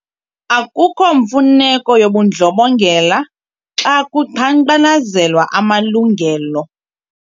Akukho mfuneko yobundlobongela xa kuqhankqalazelwa amalungelo.